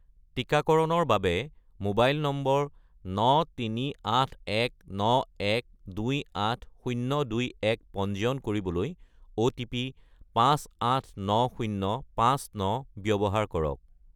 টিকাকৰণৰ বাবে mobile number 93819128021 পঞ্জীয়ন কৰিবলৈ অ'টিপি 589059 ব্যৱহাৰ কৰক